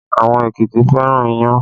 Àwọn Èkìtì fẹ́ràn iyán